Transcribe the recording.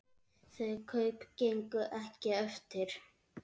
Þau kaup gengu ekki eftir.